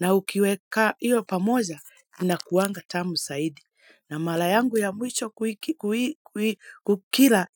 Na ukiweka iyo pamoja inakuwanga tamu zaidi, na mara yangu ya mwisho kukila